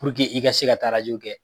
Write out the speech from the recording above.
Puruke i ka se ka taa rajo kɛ.